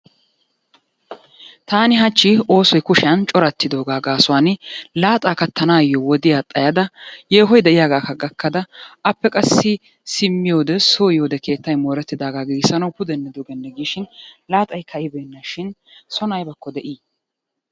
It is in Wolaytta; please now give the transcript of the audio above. Taani hachchi oosoy kushiya corartidooga gaasuwan laaxa kattanayo wodiya xayyada yehoy de'iyaaga gakkada appe qassi simmiyoode so yiyoode keettay mooretidaaga pudenne dugenne giishin laaxay ka'ibeenashin soon aybbako de'i?